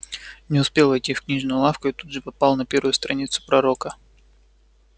не успел войти в книжную лавку и тут же попал на первую страницу пророка